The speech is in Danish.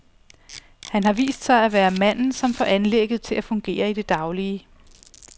Han har vist sig at være manden, som får anlægget til at fungere i det daglige.